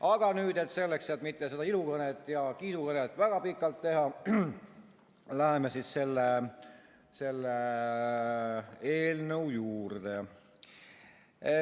Aga nüüd, et mitte seda ilukõnet ja kiidukõnet väga pikalt teha, läheme selle eelnõu juurde.